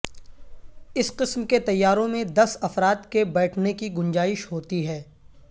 اس قسم کے طیاروں میں دس افراد کے بیٹھنے کی گنجائش ہوتی ہے